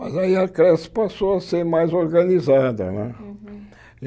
Mas aí a creche passou a ser mais organizada né.